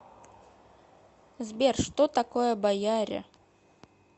сбер что такое бояре